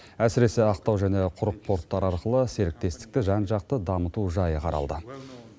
әсіресе ақтау және құрық порттары арқылы серіктестікті жан жақты дамыту жайы қаралды